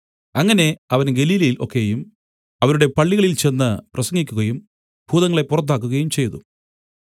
അങ്ങനെ അവൻ ഗലീലയിൽ ഒക്കെയും അവരുടെ പള്ളികളിൽ ചെന്ന് പ്രസംഗിക്കുകയും ഭൂതങ്ങളെ പുറത്താക്കുകയും ചെയ്തു